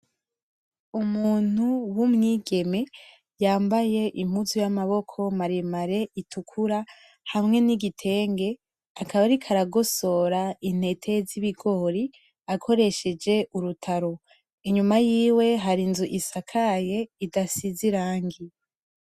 Umuntu w'umwigeme yambaye impuzu y'amaboko maremare itukura hamwe n'igitenge akaba ariko aragosora intete z'ibigori akoresheje urutaro inyuma yiwe hari inzu isakaye idasize irangi.